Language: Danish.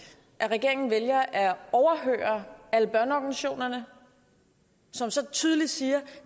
at regeringen vælger at overhøre alle børneorganisationer som så tydeligt siger at